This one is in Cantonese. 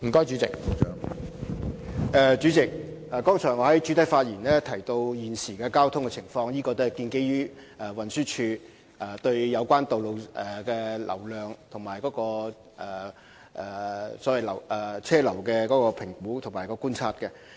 主席，我剛才在主體答覆中提及現時的交通情況，也是建基於運輸署對有關道路的流量和車流進行的評估和觀察。